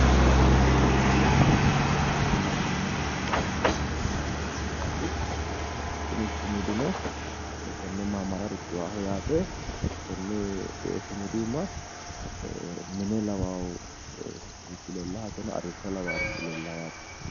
Kuni la'neemmohu sudaamu latishshi maamari sumudaati kuni sumudino latishshu maamara riqiwanno yaate. konne sumudu iima mine lawawo arrishsho lawaarichi leellanno yaate.